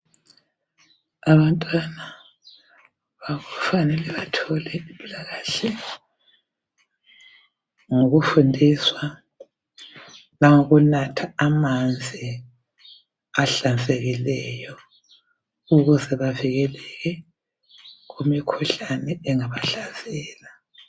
Abantwana kufanele bathole impilakahle ngokufundiswa langokunatha amanzi ahlanzekileyo ukuze bavikele imikhuhlane engabahlasela.